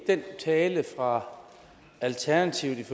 den tale fra alternativet